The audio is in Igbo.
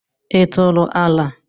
Ị tụrụ ala?